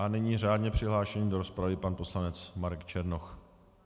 A nyní řádně přihlášený do rozpravy pan poslanec Marek Černoch.